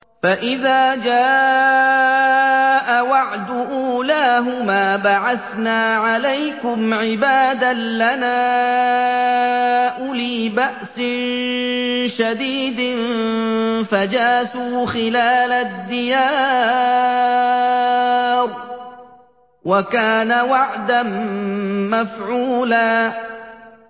فَإِذَا جَاءَ وَعْدُ أُولَاهُمَا بَعَثْنَا عَلَيْكُمْ عِبَادًا لَّنَا أُولِي بَأْسٍ شَدِيدٍ فَجَاسُوا خِلَالَ الدِّيَارِ ۚ وَكَانَ وَعْدًا مَّفْعُولًا